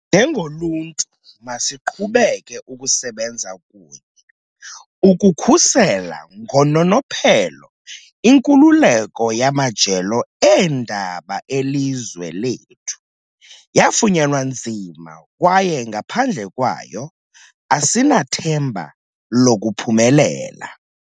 Njengoluntu, masiqhubeke ukusebenza kunye ukukhusela ngononophelo inkululeko yamajelo eendaba elizwe lethu. Yafunyanwa nzima kwaye ngaphandle kwayo, asinathemba lokuphumelela.